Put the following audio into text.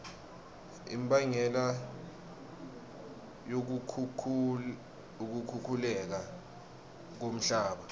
imbangela yokukhukhuleka komhlaba